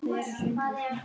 Mömmu hennar Drífu?